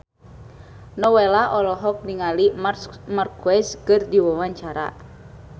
Nowela olohok ningali Marc Marquez keur diwawancara